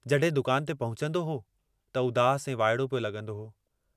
जडहिं दुकान ते पहुचन्दो हो त उदास ऐं वाइड़ो पियो लगुंदो हो।